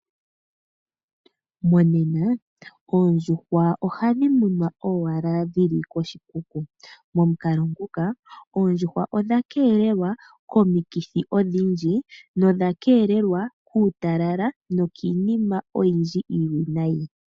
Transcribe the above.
Monena oondjuhwa ohadhi munwa owala dhili koshikuku. Momukalo nguka oondjuhwa odha keelelwa komikithi odhindji nodha keelelwa kuutalala nokiinima oyindji iiwinayi.